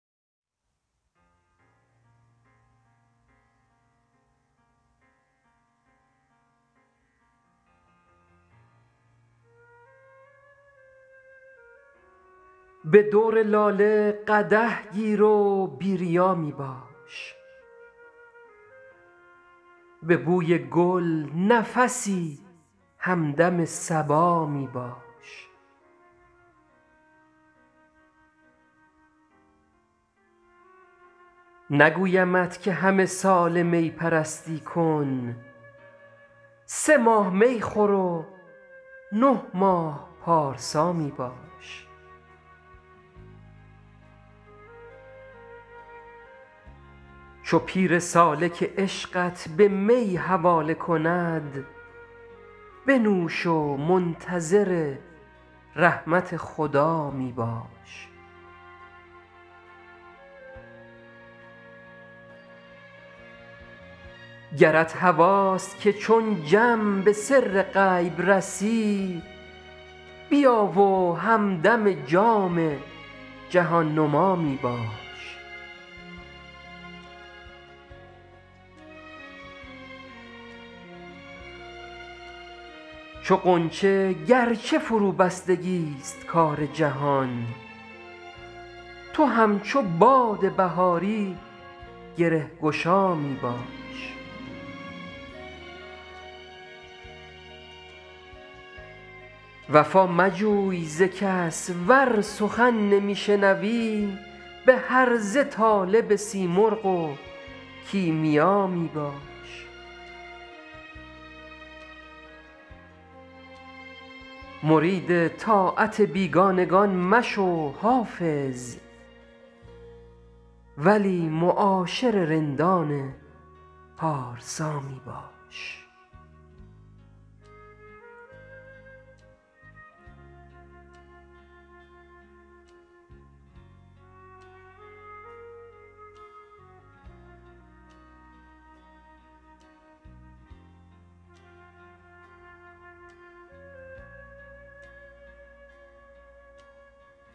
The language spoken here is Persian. به دور لاله قدح گیر و بی ریا می باش به بوی گل نفسی همدم صبا می باش نگویمت که همه ساله می پرستی کن سه ماه می خور و نه ماه پارسا می باش چو پیر سالک عشقت به می حواله کند بنوش و منتظر رحمت خدا می باش گرت هواست که چون جم به سر غیب رسی بیا و همدم جام جهان نما می باش چو غنچه گر چه فروبستگی ست کار جهان تو همچو باد بهاری گره گشا می باش وفا مجوی ز کس ور سخن نمی شنوی به هرزه طالب سیمرغ و کیمیا می باش مرید طاعت بیگانگان مشو حافظ ولی معاشر رندان پارسا می باش